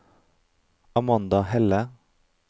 Amanda Helle